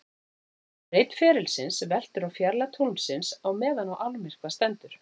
Breidd ferilsins veltur á fjarlægð tunglsins á meðan á almyrkva stendur.